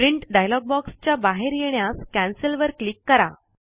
print dialog box च्या बाहेर येण्यास कॅन्सेल वर क्लिक करा